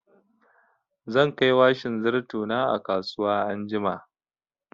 Zan kai washin zarto na a kasuwa anjima.